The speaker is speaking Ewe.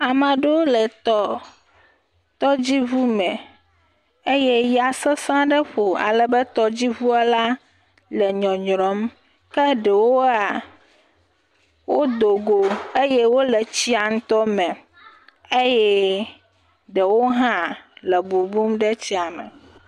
Ame ɖewo le tɔ, tɔdziŋume eye ya sesẽ ɖe ƒo alebe tɔdziŋuɔ la le nyɔnyrɔ̃m ke ɖewoa, wodogo eye wole tsia ŋutɔ me eye ɖewo hã le bubum ɖe tsia me.